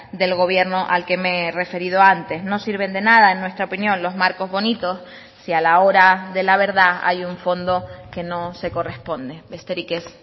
del gobierno al que me he referido antes no sirven de nada en nuestra opinión los marcos bonitos si a la hora de la verdad hay un fondo que no se corresponde besterik ez